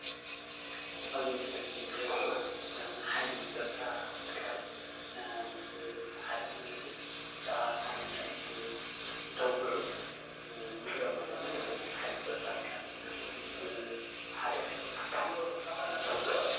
ኣብዚ ምስሊ እዚ ንሪኦ ድማ ሓይሊ ፀፅታ ትግራይ ምስ ሓደ መንእሰይ ብዛዕባ ዝኮነ ጉዳይ እንተውግዑ ንሪኦም ኣለና ማለት እዩ፡፡ ሓይልታት ፀፅታ ትግራይ ምስ ሓደ ኣካል እንተውግዕ